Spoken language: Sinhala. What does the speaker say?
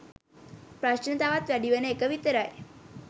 ප්‍රශ්න තවත් වැඩිවන එක විතරයි